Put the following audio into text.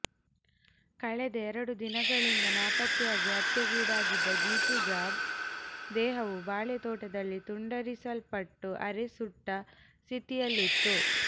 ಕಳೆದ ಎರಡು ದಿನಗಳಿಂದ ನಾಪತ್ತೆಯಾಗಿ ಹತ್ಯೆಗೀಡಾದ್ದ ಜಿತು ಜಾಬ್ ದೇಹವು ಬಾಳೆ ತೋಟದಲ್ಲಿ ತುಂಡರಿಸಲ್ಪಟ್ಟು ಅರೆ ಸುಟ್ಟ ಸ್ಥಿತಿಯಲ್ಲಿತ್ತು